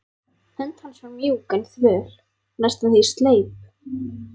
Hönd hans var mjúk en þvöl, næstum því sleip.